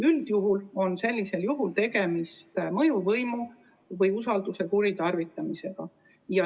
Üldiselt on sellisel juhul tegemist mõjuvõimu või usalduse kuritarvitamisega.